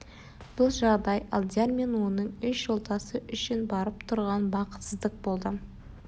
бұл жағдай алдияр мен оның үш жолдасы үшін барып тұрған бақытсыздық болды